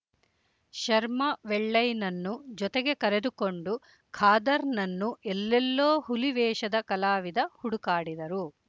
ಶರ್ಮ ವೆಳ್ಳೈನನ್ನು ಜೊತೆಗೆ ಕರೆದುಕೊಂಡು ಖಾದರ್‌ನನ್ನು ಎಲ್ಲೆಲ್ಲೋ ಹುಲಿ ವೇಷದ ಕಲಾವಿದ ಹುಡುಕಾಡಿದರು